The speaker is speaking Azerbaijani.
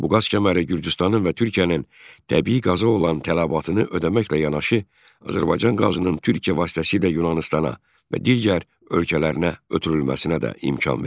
Bu qaz kəməri Gürcüstanın və Türkiyənin təbii qaza olan tələbatını ödəməklə yanaşı, Azərbaycan qazının Türkiyə vasitəsilə Yunanıstana və digər ölkələrinə ötürülməsinə də imkan verdi.